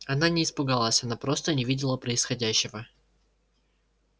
она не испугалась она просто не видела происходящего